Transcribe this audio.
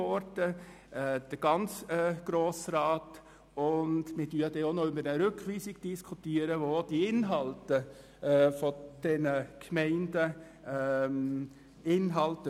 Wir werden dann auch noch über die Rückweisung diskutieren, welche sich auf die Inhalte der Gemeinden bezieht.